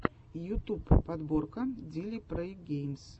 ютуб подборка дили прэй геймс